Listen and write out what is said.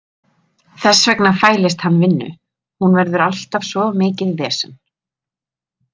Þess vegna fælist hann vinnu, hún verður alltaf svo mikið vesen.